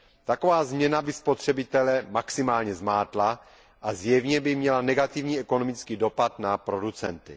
Taková změna by spotřebitele maximálně zmátla a zjevně by měla negativní ekonomický dopad na producenty.